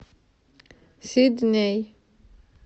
сидней